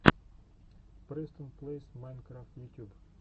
престон плэйс майнкрафт ютюб